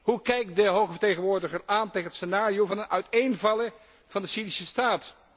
Hoe kijkt de Hoge Vertegenwoordiger aan tegen het scenario van een uiteenvallen van de Syrische staat?